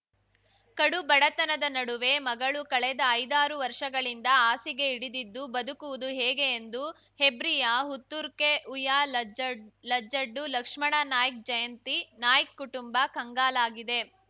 ಕಡು ಬಡತನದ ನಡುವೆ ಮಗಳು ಕಳೆದ ಐದಾರು ವರ್ಷಗಳಿಂದ ಹಾಸಿಗೆ ಹಿಡಿದಿದ್ದು ಬದುಕುವುದು ಹೇಗೆ ಎಂದು ಹೆಬ್ರಿಯ ಹುತ್ತುರ್ಕೆ ಹುಯ್ಯಾಲಜ್ ಲಜಡ್ಡು ಲಕ್ಷ್ಮಣ ನಾಯ್ಕ್ ಜಯಂತಿ ನಾಯ್ಕ್ ಕುಟುಂಬ ಕಂಗಲಾಗಿದೆ